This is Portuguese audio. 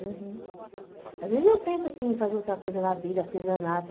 Às vezes eu penso assim em fazer outra coisa na vida, artesanato.